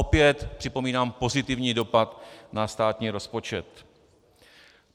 Opět připomínám pozitivní dopad na státní rozpočet.